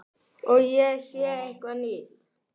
Og ég sé eitthvað nýtt.